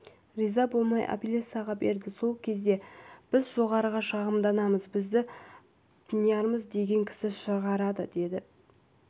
риза болмай апелляцияға берді сол кезде біз жоғарыға шағымданамыз бізді пірнияз деген кісі шығарады деп